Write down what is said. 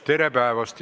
Tere päevast!